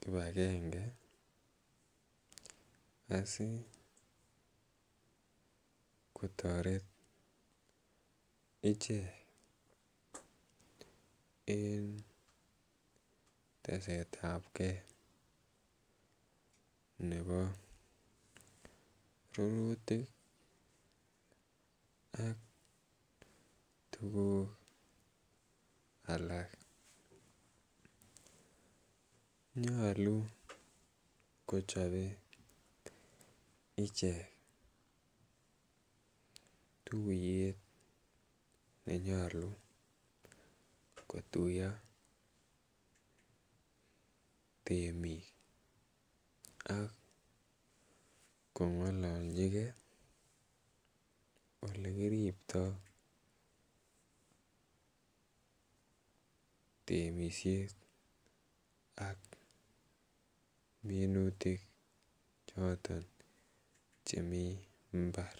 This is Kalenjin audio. kipagenge asi kotaret ichek en tesetab ke nebo rurutik ak tukuk alak. Nyolu kochope ichek tuiyet ne nyolu kotuiyo temik ak kong'alalchikei olekiriptoi temishet ak minutik choton chemi mbar.